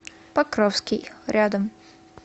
покровский рядом